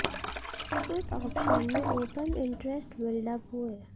put option में open interest build up हुए